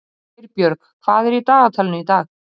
Geirbjörg, hvað er í dagatalinu í dag?